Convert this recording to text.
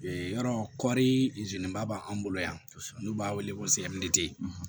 E yɔrɔ kɔɔri zelenba b'an bolo yan n'u b'a wele ko